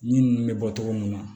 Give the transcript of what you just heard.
Yiri ninnu bɛ bɔ cogo mun na